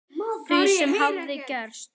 Því sem hafði gerst.